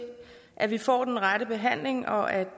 at vi får den rette behandling og at